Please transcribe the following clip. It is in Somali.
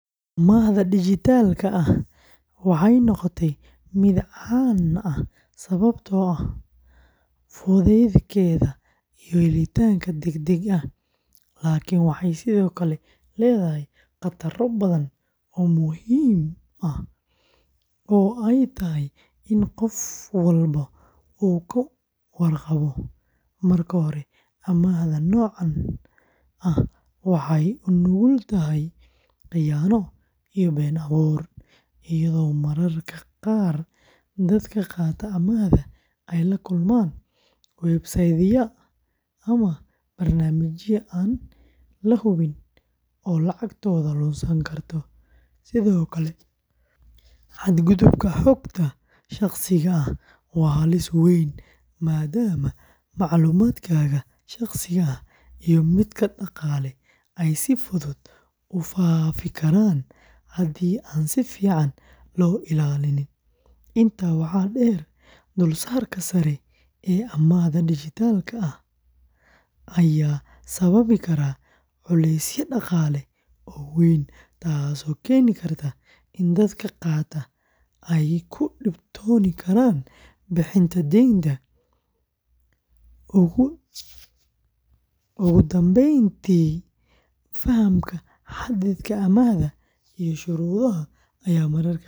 Amaahda dijitaalka ah waxay noqotay mid caan ah sababtoo ah fudeydkeeda iyo helitaankeeda degdega ah, laakiin waxay sidoo kale leedahay khataro badan oo muhiim ah oo ay tahay in qof walba uu ka warqabo. Marka hore, amaahda noocan ah waxay u nugul tahay khiyaano iyo been abuur, iyadoo mararka qaar dadka qaata amaahda ay la kulmaan website-yada ama barnaamijyada aan la hubin oo lacagtooda lunsan karto. Sidoo kale, xadgudubka xogta shaqsiga ah waa halis weyn, maadaama macluumaadkaaga shaqsiga ah iyo midka dhaqaale ay si fudud u faafi karaan haddii aan si fiican loo ilaalin. Intaa waxaa dheer, dulsaarka sare ee amaahda dijitaalka ah ayaa sababi kara culays dhaqaale oo weyn, taas oo keeni karta in dadka qaata ay ku dhibtoon karaan bixinta deynta. Ugu dambeyntii, fahamka xaddiga amaahda iyo shuruudaha ayaa mararka qaar adkaan kara.